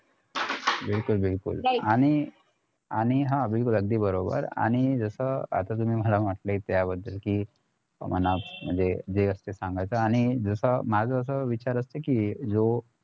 बिलकुल बिलकुल आणि आणि हा बिलकुल अगदी बरोबर आणि जस आता तुम्ही मला म्हंटले त्याबद्दल कि मनात म्हणजे जे असते ते सांगायचं आणि जसं माझं असं विचार असतं कि जो